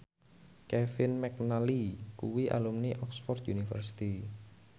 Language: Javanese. Kevin McNally kuwi alumni Oxford university